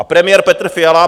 A premiér Petr Fiala?